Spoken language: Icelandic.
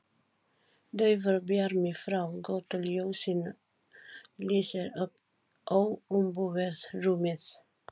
Daufur bjarmi frá götuljósinu lýsir upp óumbúið rúmið.